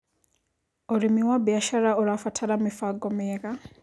Ũrĩmĩ wa bĩashara ũrabatara mĩbango mĩega